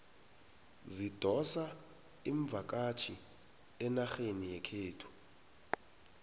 zidosa imvakatjhi enarheni yekhethu